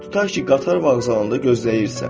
Tutaq ki, qatar vağzalında gözləyirsən.